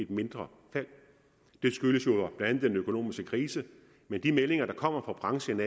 et mindre fald det skyldes jo blandt andet den økonomiske krise men de meldinger der kommer fra branchen